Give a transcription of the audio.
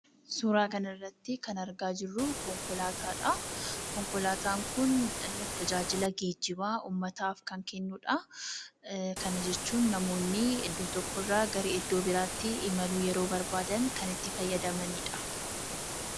Suuraa kana irratti kan argaa jirru konkolaataadha. Konkolaataan kun tajaajila geejjibaa uummataaf kan kennuudha. Kana jechuun namoonni iddoo tokko irraa iddoo biraatti imaluuf yeroo barbaadan kan itti fayyadamaniidha.